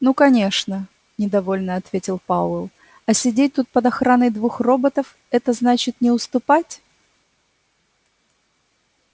ну конечно недовольно ответил пауэлл а сидеть тут под охраной двух роботов это значит не уступать